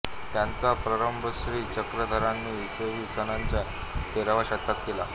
त्याचा प्रारंभ श्री चक्रधरांनी इसवी सनाच्या तेराव्या शतकात केला